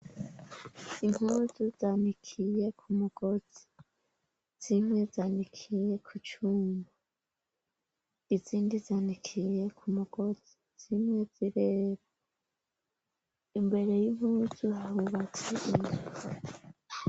Imupuzu zanikiye ku mugozi, zimwe zanikiye ku cuma, izindi zanikiye ku mugozi, zimwe zirera, imbere y'impuzu harubatse inzu.